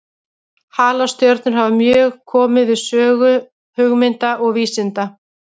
Halastjörnur hafa mjög komið við sögu hugmynda og vísinda.